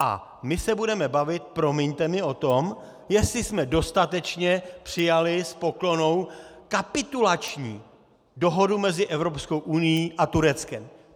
A my se budeme bavit, promiňte mi, o tom, jestli jsme dostatečně přijali s poklonou kapitulační dohodu mezi Evropskou unií a Tureckem.